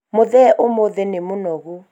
mũthee ũmũthĩ nĩ mũnogu